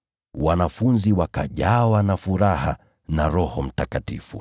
Wanafunzi wakajawa na furaha na Roho Mtakatifu.